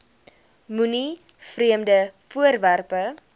moenie vreemde voorwerpe